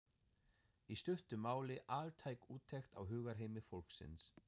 í stuttu máli altæk úttekt á hugarheimi fólksins.